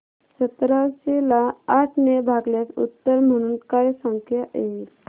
सतराशे ला आठ ने भागल्यास उत्तर म्हणून काय संख्या येईल